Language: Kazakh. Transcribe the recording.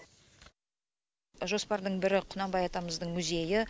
жоспардың бірі құнанбай атамыздың музейі